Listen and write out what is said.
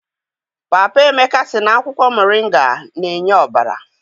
Papa Emeka sị na akwụkwọ moringa na-enye ọbara.